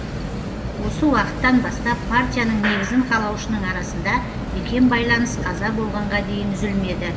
осы уақыттан бастап партияның негізін қалаушының арасында бекем байланыс қаза болғанға дейін үзілмеді